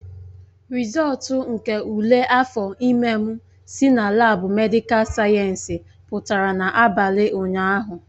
Rịzọltu nke ule afọ ime m si na laabu medịkal sayensị pụtara n'abalị ụnyahụ